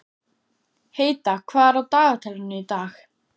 Heida, hvað er á dagatalinu í dag?